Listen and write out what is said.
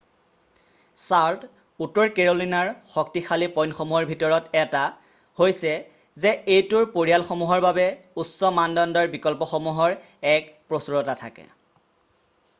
Charlotte উত্তৰ কেৰ'লিনাৰ শক্তিশালী পইন্টসমূহৰ ভিতৰত এটা হৈছে যে এইটোৰ পৰিয়ালসমূহৰ বাবে উচ্চ-মানদণ্ডৰ বিকল্পসমূহৰ এক প্ৰচুৰতা থাকে৷